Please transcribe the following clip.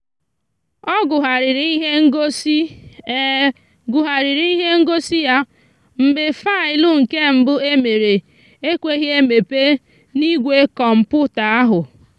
ọ gụgharịrị ihe ngosi gụgharịrị ihe ngosi ya mgbe faịlụ nke mbụ e mere ekweghị emepe n'igwe kọmputa ahụ.